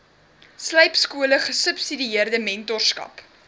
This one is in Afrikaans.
slypskole gesubsidieerde mentorskap